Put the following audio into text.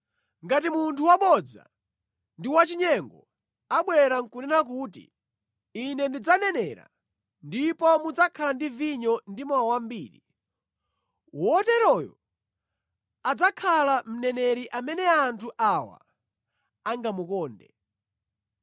Ngati munthu wabodza ndi wachinyengo abwera nʼkunena kuti, ‘Ine ndidzanenera ndipo mudzakhala ndi vinyo ndi mowa wambiri, woteroyo adzakhala mneneri amene anthu awa angamukonde!’